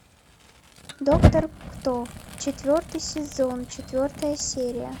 доктор кто четвертый сезон четвертая серия